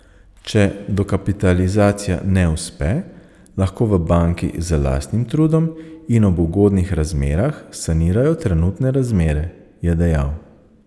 Če dokapitalizacija ne uspe, lahko v banki z lastnim trudom in ob ugodnih razmerah sanirajo trenutne razmere, je dejal.